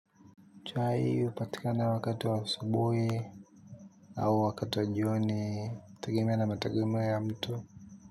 Chai hupatika wakati wa asubuhi au wakati wa jioni kutegemea na mategemeo ya mtu.